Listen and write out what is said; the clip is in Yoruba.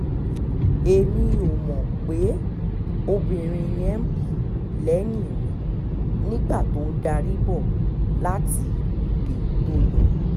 èmi ò mọ̀ pé obìnrin yẹn ń bọ̀ lẹ́yìn mi nígbà tó ń darí bọ̀ láti òde tó lọ